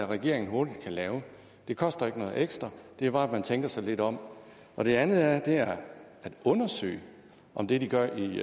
regeringen hurtigt kan lave det koster ikke noget ekstra det er bare at man tænker sig lidt om det andet er at undersøge om det de gør i